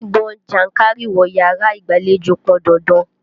Gbígbọn jánkárìwọ̀ yàrá ìgbàlejò pọn dandan.